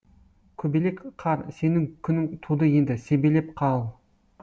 көбелек қар сенің күнің туды енді себелеп қал